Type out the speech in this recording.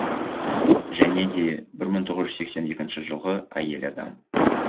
және де бір мың тоғыз жүз сексен екінші жылғы әйел адам